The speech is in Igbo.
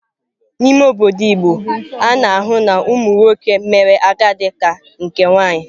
N'ime obodo igbo, a na-ahụ na ụmụ nwoke mere agadi ka nke nwaanyị.